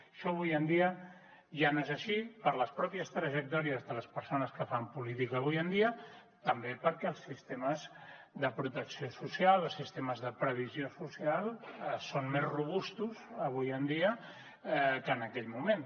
això avui en dia ja no és així per les pròpies trajectòries de les persones que fan política avui en dia també perquè els sistemes de protecció social els sistemes de previsió social són més robustos avui en dia que en aquell moment